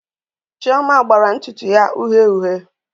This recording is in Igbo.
Chioma agbaji ntutu ya uhie uhie